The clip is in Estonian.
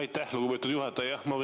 Aitäh, lugupeetud juhataja!